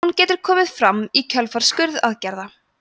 hún getur komið fram í kjölfar skurðaðgerða